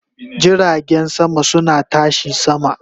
Jiragen sama suna tashi sama